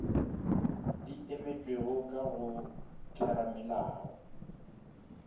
di emetšwego ka go theramelao